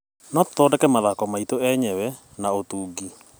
No tũthondeke mathako maitũ enyewe na ũtungi.